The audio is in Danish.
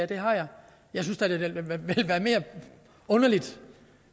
det har jeg jeg synes da det ville have været mere underligt